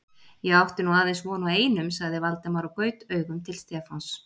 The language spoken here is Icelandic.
Ég átti nú aðeins von á einum sagði Valdimar og gaut augum til Stefáns.